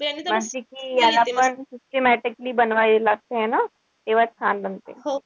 जशी कि याला पण systematically बनवावी लागते है ना? तेव्हाच छान बनते.